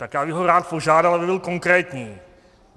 Tak já bych ho rád požádal, aby byl konkrétní.